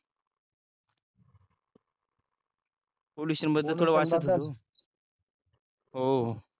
हो